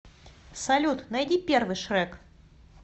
салют найди первый шрек